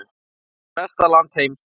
Í besta landi heims.